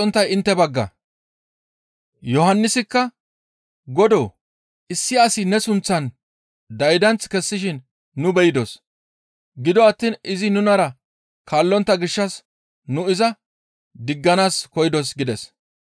Yohannisikka, «Godoo! Issi asi ne sunththan daydanth kessishin nu beydos; gido attiin izi nunara kaallontta gishshas nu iza digganaas koyidos» gides.